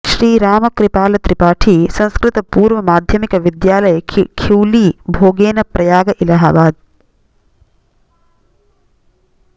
श्री रामकृपाल त्रिपाठी संस्कृतपूर्व माध्यमिक विद्यालय खिउली भोगन प्रयाग इलाहाबाद